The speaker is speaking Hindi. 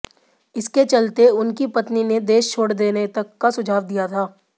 इसके चलते उनकी पत्नी ने देश छोड़ देने तक का सुझाव दिया था